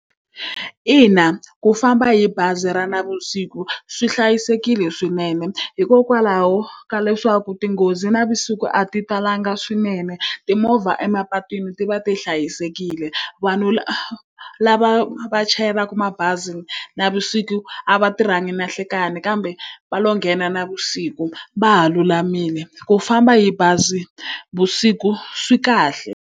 Ina ku famba hi bazi ra navusiku swi hlayisekile swinene, hikokwalaho ka leswaku tinghozi navusiku a ti talanga swinene. Timovha emapatwini ti va ti hlayisekile. Vanhu lava va chayelaka mabazi navusiku a va tirhangi na nhlekani kambe va lo nghena navusiku va ha lulamile. Ku famba hi bazi vusiku swi kahle.